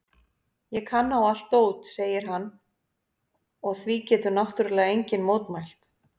Ég kann á allt dót, segir hann og því getur náttúrlega enginn mótmælt.